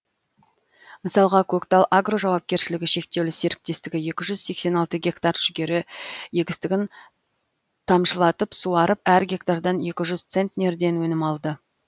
мысалға көктал агро жауапкершілігі шектеулі серіктестігі екі жүз сексен алты гектар жүгері егістігін тамшылатып суарып әр гектардан екі жүз центнерден өнім алды